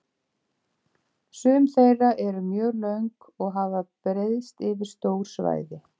Sum þeirra eru mjög löng og hafa breiðst yfir stór svæði.